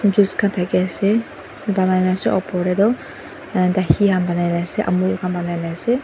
juice khan thakiase banaina ase opor tae toh dahi han banaina ase amul khan banainaase.